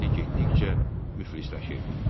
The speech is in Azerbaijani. Əhali getdikcə müflisləşirdi.